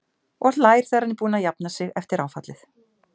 Og hlær þegar hann er búinn að jafna sig eftir áfallið.